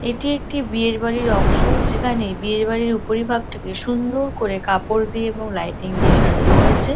এটি একটি বিয়ের বাড়ির অংশ যেখানে বিয়ে বাড়ির উপরি ভাগটা কে সুন্দর করে কাপড় দিয়ে এবং লাইটিং দিয়ে সাজানো হয়েছে ।